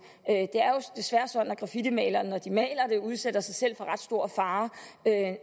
er desværre sådan at graffitimalerne når de maler det udsætter sig selv for ret stor fare